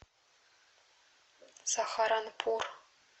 сахаранпур